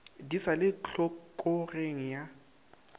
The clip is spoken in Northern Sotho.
di sa le tlhokogeng ya